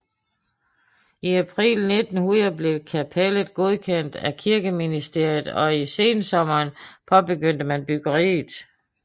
I april 1900 blev kapellet godkendt af kirkeministeriet og i sensommeren påbegyndte man byggeriet